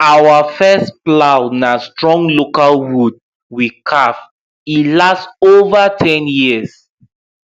our first plow na strong local wood we carve e last over ten years